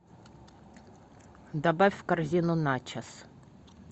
добавь в корзину начос